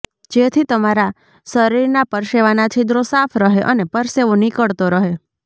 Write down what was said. જેથી તમારા શરીરના પરસેવાના છિદ્રો સાફ રહે અને પરસેવો નીકળતો રહે